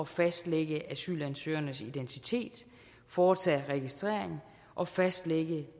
fastlægge asylansøgernes identitet foretage registrering og fastlægge